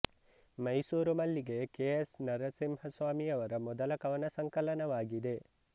Mysuru Mallige K S ನರಸಿಂಹಸ್ವಾಮಿಯವರ ಮೊದಲ ಕವನ ಸಂಕಲನವಾಗಿದೆ